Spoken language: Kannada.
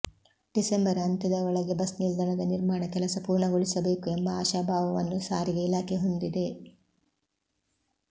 ಡಿಸೆಂಬರ್ ಅಂತ್ಯದ ಒಳಗೆ ಬಸ್ ನಿಲ್ದಾಣದ ನಿರ್ಮಾಣ ಕೆಲಸ ಪೂರ್ಣಗೊಳಿಸಬೇಕು ಎಂಬ ಆಶಾಭಾವವನ್ನು ಸಾರಿಗೆ ಇಲಾಖೆ ಹೊಂದಿದೆ